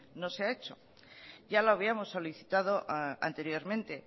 no se ha hecho ya lo habíamos solicitado anteriormente